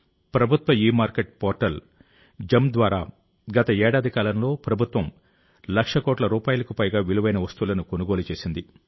ప్రభుత్వ e market portal G E M ద్వారా గత ఏడాది కాలంలో ప్రభుత్వం లక్ష కోట్ల రూపాయలకు పైగా విలువైన వస్తువులను కొనుగోలు చేసింది